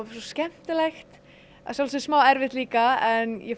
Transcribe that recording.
skemmtilegt að sjálfsögðu smá erfitt líka en ég